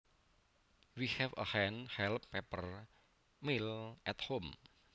We have a hand held pepper mill at home